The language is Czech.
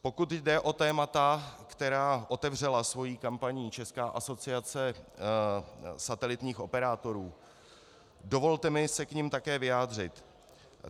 Pokud jde o témata, která otevřela svou kampaní Česká asociace satelitních operátorů, dovolte mi se k nim také vyjádřit.